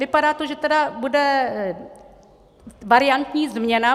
Vypadá to, že tedy bude variantní změna.